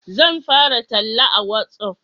Zan fara talla a watsaf